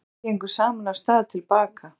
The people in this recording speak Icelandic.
Drengirnir gengu saman af stað til baka.